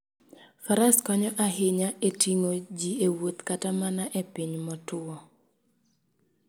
Faras konyo ahinya e ting'o ji e wuoth kata mana e piny motwo.